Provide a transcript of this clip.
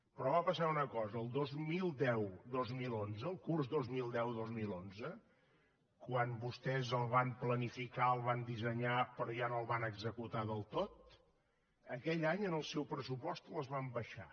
però va passar una cosa el dos mil deudos mil onze el curs dos mil deudos mil onze quan vostès el van planificar el van dissenyar però ja no el van executar del tot aquell any en el seu pressupost les van abaixar